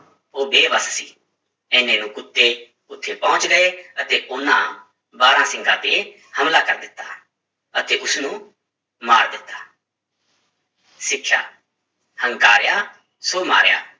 ਉਹ ਬੇਬਸ ਸੀ, ਇੰਨੇ ਨੂੰ ਕੁੱਤੇ ਉੱਥੇ ਪਹੁੰਚ ਗਏ ਅਤੇ ਉਹਨਾਂ ਬਾਰਾਂਸਿੰਗਾ ਤੇ ਹਮਲਾ ਕਰ ਦਿੱਤਾ ਅਤੇ ਉਸਨੂੰ ਮਾਰ ਦਿੱਤਾ ਸਿੱਖਿਆ ਹੰਕਾਰਿਆ ਸੋ ਮਾਰਿਆ